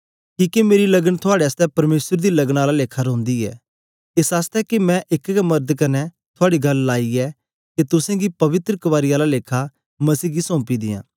किके मेरी लगन थुआड़े आसतै परमेसर दी लगन आला लेखा रौंदी ऐ एस आसतै के मैं एक गै मर्द कन्ने थुआड़ी गल्ल लाइ ऐ के तुसेंगी पवित्र कवारी आला लेखा मसीह गी सौपीं दियां